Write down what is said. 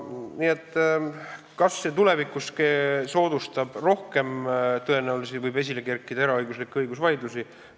Kas see tulevikus rohkem soodustab tõenäosust, et võib esile kerkida eraõiguslikke õigusvaidlusi?